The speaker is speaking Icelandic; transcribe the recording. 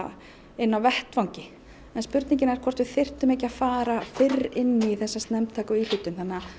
inni á vettvangi en spurningin er hvort að við þyrftum ekki að fara fyrr inn í þessa snemmtæku íhlutun þannig að